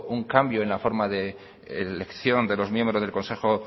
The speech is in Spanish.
un cambio en la forma de elección de los miembros del consejo